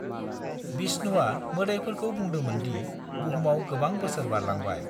बिष्णुआ मोदाइफोरखौ बुंदोंमोन दि बुहुमाव गोबां बोसोर बारलांबाय।